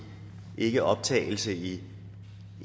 ikke optagelse i